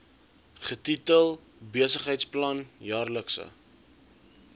getitel besigheidsplan jaarlikse